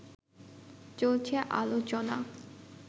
চলছে আলোচনা